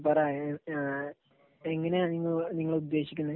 പറ. എഹ് എങ്ങനെയാണ് നിങ്ങൾ ഉദ്ദേശിക്കുന്നത്?